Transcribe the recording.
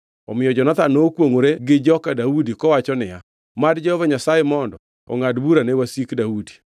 Omiyo Jonathan nokwongʼore gi joka Daudi, kowacho niya, “Mad Jehova Nyasaye mondo ongʼad bura ne wasik Daudi.”